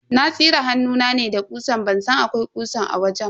Na tsire hannuna ne da ƙusa ban san akwai ƙusan a wajen ba.